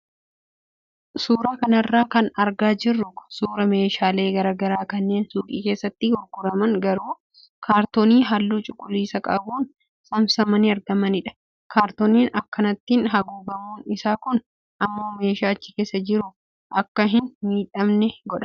Suuraa kanarra kan argaa jirru kun suuraa meeshaalee garaagaraa kanneen suuqii keessatti gurguraman garuu kaartoonii halluu cuquliisa qabuun saamsamanii argamanidha. Kaartoonii akkanaatiin haguugamuun isaa kun immoo meeshaan achi keessa jiru akka hin miidhamne godha.